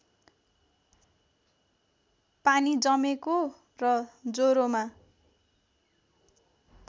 पानी जमेको र ज्वरोमा